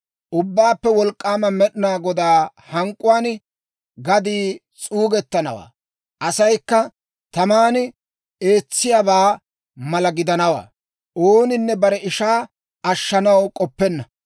Ubbaappe Wolk'k'aama Med'inaa Godaa hank'k'uwaan gaddii s'uugettanawaa; asaykka taman eetsiyaabaa mala gidanawaa; ooninne bare ishaa ashshanaw k'oppenna.